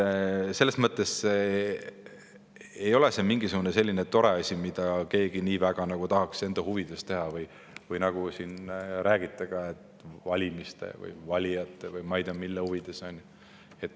Selles mõttes ei ole see mingisugune selline tore asi, mida keegi nii väga tahaks enda huvides teha, või nagu te siin räägite, valijate, valimiste või ma ei tea, mille huvides.